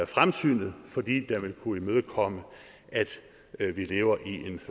fremsynet fordi den vil kunne imødekomme at vi lever i en